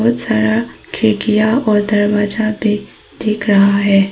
बहोत सारा खिड़कियां और दरवाजा भी दिख रहा है।